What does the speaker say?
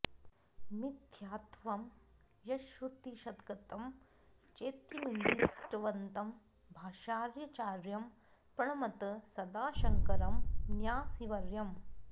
मिथ्यात्वं यच्छ्रुतिशतगतं चेत्यनूद्दिष्टवन्तं भाष्याचार्यं प्रणमत सदा शङ्करं न्यासिवर्यम्